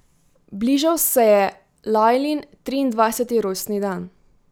Bližal se je Lajlin triindvajseti rojstni dan.